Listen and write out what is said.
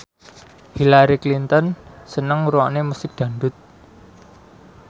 Hillary Clinton seneng ngrungokne musik dangdut